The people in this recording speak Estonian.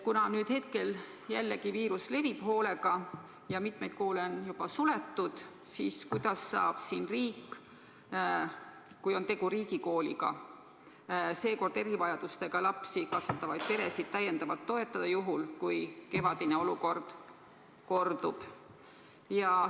Kuna viirus on jälle hakanud hoolega levima ja mitmeid koole on juba suletud, siis kuidas saab riik – kui on tegu riigikooliga – sel korral erivajadusega lapsi kasvatavaid peresid täiendavalt toetada, juhul kui kevadine olukord kordub?